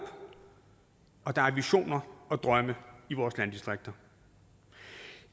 og der er visioner og drømme i vores landdistrikter